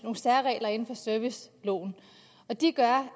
særregler i serviceloven og de gør